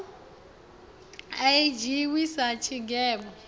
a i dzhiiwi sa tshigwevho